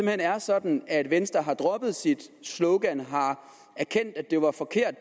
hen er sådan at venstre har droppet sit slogan har erkendt at det var forkert